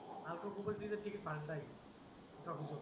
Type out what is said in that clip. बाकीच्या परिस्थतीत किती फायदा